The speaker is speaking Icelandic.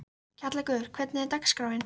Kjallakur, hvernig er dagskráin?